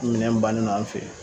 Minɛn bannen do an fɛ yen.